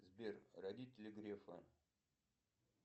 сбер родители грефа